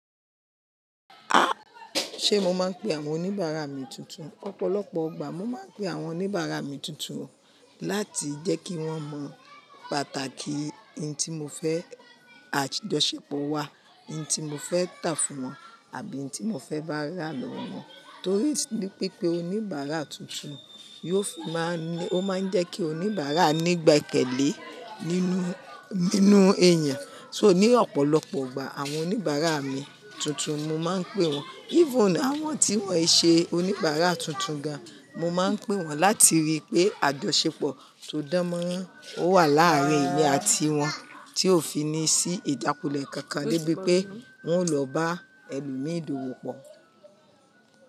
Ah! Ṣe mo máa ń pe àwọn oníbàárà mi tuntun? Ọ̀pọ̀lọpọ̀ ọgbà mo máa ń pe àwọn oníbàárà mi tuntun láti jẹ́ kí wọ́n mọ pàtàkì n tí mo fẹ́ àjọṣepọ̀ wa, n tí mo fẹ́ tà fún wọn àbí n tí mo fẹ́ bá ra lọ́wọ́ wọn. Torí pipé oníbàárà tuntun yóò fi máa ń ní, ó máa ń jẹ́ kí oníbàárà nígbàkẹ́lé nínú, nínú èèyàn. So ní ọ̀pọ̀lọpọ̀ ọgbà àwọn oníbàárà mi tuntun mo máa ń pe wọn. Even àwọn tí wọ́n ì ṣe oníbàárà tuntun gan, mo máa ń pe wọn láti rí pé àjọṣepọ̀ tó dán mọ́rán ó wà láàárín èmi àti wọn tí ó fi ní sí ìjákulẹ̀ kankan lébi pé wọn ó lọ bá ẹlòmíìdàwó pọ̀.